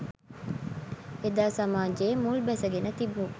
එදා සමාජයේ මුල් බැසගෙන තිබූ